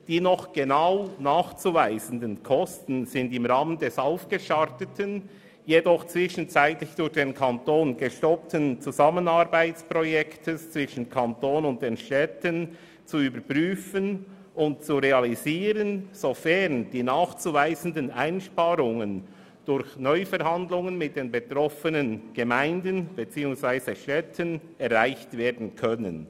Die noch genau nachzuweisenden Kosten sind im Rahmen des gestarteten, jedoch zwischenzeitlich durch den Kanton gestoppten Zusammenarbeitsprojekts zwischen dem Kanton und diesen Städten zu überprüfen und zu realisieren, sofern die nachzuweisenden Einsparungen durch Neuverhandlungen mit den betroffenen Städten erreicht werden können.